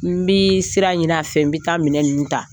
N bɛ sira ɲini a fɛ n bɛ taa minɛ ninnu ta